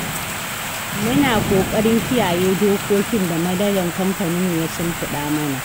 Muna ƙoƙarin kiyaye dokokin da manajan kamfaninmu ya shimfiɗa mana.